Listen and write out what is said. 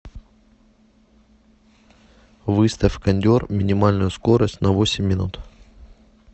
выставь кондер минимальную скорость на восемь минут